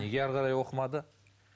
неге әрі қарай оқымады